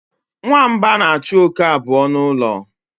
Nwamba na-achụ oke abụọ n'ụlọ.